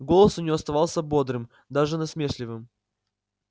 голос у нее оставался бодрым даже насмешливым